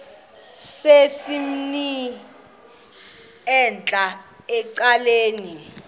sesimnini entla ecaleni